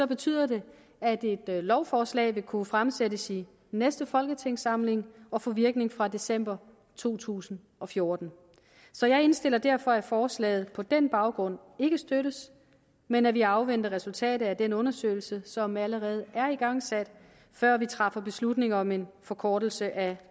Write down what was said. betyder det at et lovforslag vil kunne fremsættes i næste folketingssamling og få virkning fra december to tusind og fjorten så jeg indstiller derfor at forslaget på den baggrund ikke støttes men at vi afventer resultatet af den undersøgelse som allerede er igangsat før vi træffer beslutning om en forkortelse af